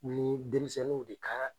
Ni denmisɛnw de kan